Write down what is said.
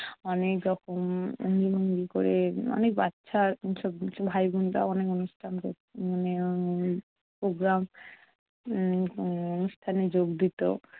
অনেক রকম উম অঙ্গভঙ্গি ক'রে। অনেক বাচ্চা সব ভাইবোনরাও অনেক অনুষ্ঠান করতো মানে উম programme উম অনুষ্ঠানে যোগ দিতো।